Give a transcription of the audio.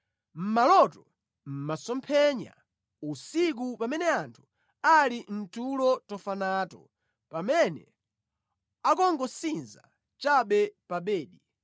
Mʼmaloto, mʼmasomphenya usiku, pamene anthu ali mʼtulo tofa nato pamene akungosinza chabe pa bedi,